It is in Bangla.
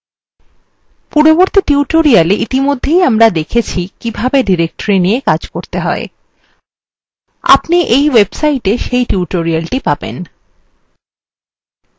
পূর্ববর্তী tutorialwe ইতিমধ্যে আমরা দেখেছি কিভাবে directories নিয়ে কাজ করতে হয় আপনি in website সেই tutorialthe পাবেন